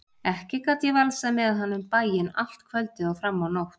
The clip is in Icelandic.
Ekki gat ég valsað með hann um bæinn allt kvöldið og fram á nótt.